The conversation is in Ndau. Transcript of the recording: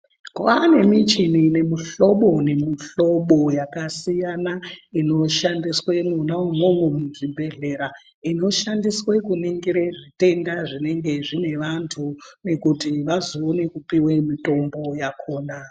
Kwaane michini yemihlobo nemuhlobo yakasiyana, inoshandiswe mwona umwomwo muzvibhedhlera , inoshandiswe kuningire zvitenda zvinenge zvine vantu, kuti vazoone kupiwe mitombo yakhona.